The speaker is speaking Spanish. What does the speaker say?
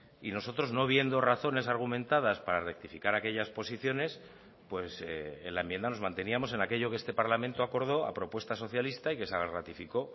y nosotros no viendo razones argumentadas para rectificar aquellas posiciones en la enmienda nos manteníamos en aquello que este parlamento acordó a propuesta socialista y que se ratificó